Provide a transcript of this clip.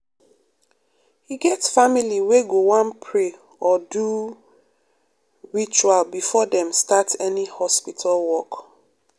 e get family wey go wan pray or do ritual before dem start any hospital work.